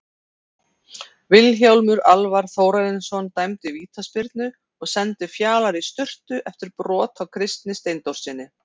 Vilhjálmur Alvar Þórarinsson dæmdi vítaspyrnu og sendi Fjalar í sturtu eftir brot á Kristni Steindórssyni.